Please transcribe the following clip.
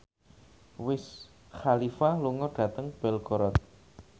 Wiz Khalifa lunga dhateng Belgorod